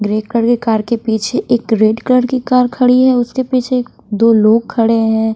Grey colour के car के पीछे एक रेड कलर की कार खड़ी है उसके पीछे एक दो लोग खड़े हैं।